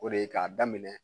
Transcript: O de ye k'a daminɛ